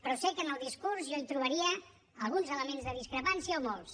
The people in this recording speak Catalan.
però sé que en el discurs jo hi trobaria alguns elements de discrepància o molts